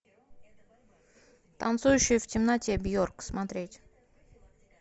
танцующая в темноте бьорк смотреть